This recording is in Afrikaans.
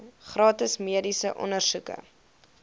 gratis mediese ondersoeke